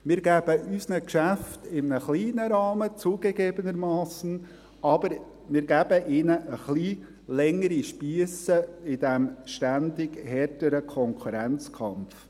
Wir geben unseren Geschäften – zugegebenermassen in einem kleinen Rahmen – ein wenig längere Spiesse in diesem ständig härteren Konkurrenzkampf.